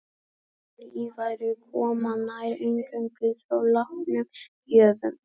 Önnur líffæri koma nær eingöngu frá látnum gjöfum.